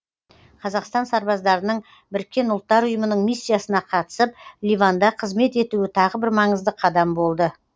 қазақстан сарбаздарының біріккен ұлттар ұйымының миссиясына қатысып ливанда қызмет етуі тағы бір маңызды қадам болды